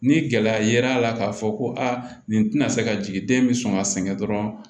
Ni gɛlɛya yera a la k'a fɔ ko aa nin tɛna se ka jigin den bɛ sɔn ka sɛgɛn dɔrɔn